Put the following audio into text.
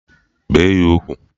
Bee ya ugwu!